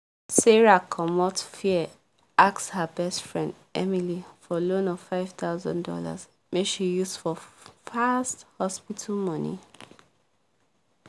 sarah commot fear ask her best friend emily for loan of five thousand dollars make she use for fast hospital money